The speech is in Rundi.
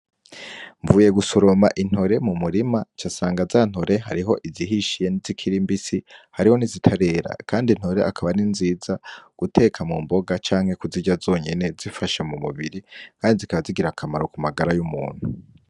Mvuye gusuroma intore mu murima ca asanga za ntore hariho izihishiye n'zikirimbisi hariho nizitarera, kandi intore akaba ari nziza guteka mu mboga canke kuzirya zonyene zifashe mu mubiri, kandi zikabazigira akamaro ku magara y'umuntu.